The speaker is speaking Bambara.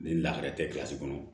Ni lakɛrɛ tɛ kilasi kɔnɔ